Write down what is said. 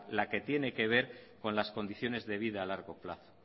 la que tiene que ver las condiciones de vida a largo plazo